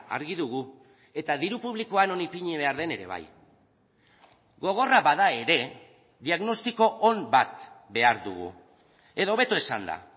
argi dugu eta diru publikoa non ipini behar den ere bai gogorra bada ere diagnostiko on bat behar dugu edo hobeto esanda